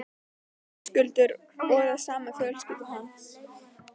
Höskuldur: Og það sama um fjölskyldu hans?